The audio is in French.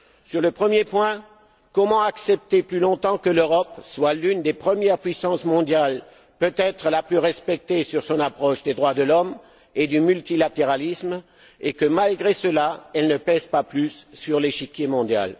Sur le premier point, comment accepter plus longtemps que l'Europe soit l'une des premières puissances mondiales, peut être la plus respectée sur son approche des droits de l'homme et du multilatéralisme, et que, malgré cela, elle ne pèse pas plus sur l'échiquier mondial?